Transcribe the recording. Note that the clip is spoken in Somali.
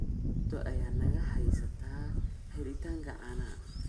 Dhibaato ayaa naga haysata helitaanka caanaha.